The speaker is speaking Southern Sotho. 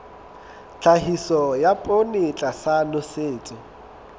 tlhahiso ya poone tlasa nosetso